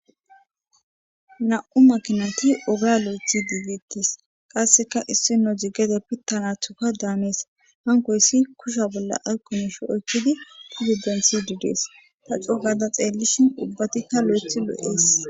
Nam,u makinati oga lo7ethi diigittes qasseka issino jigede pittanathuka daamees hankoyssi kusha bolla ayqumush oykkidi pududensi didees ta cou gada xeellishin ubbatikka lo7eth lo7ees